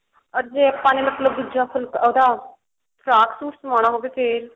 or ਜੇ ਆਪਾਂ ਨੇ ਮਤਲਬ ਦੂਜਾ ਫੁੱਲ ਉਹਦਾ ਫਰਾਕ ਸੂਟ ਸਵਾਉਣਾ ਹੋਵੇ ਫ਼ੇਰ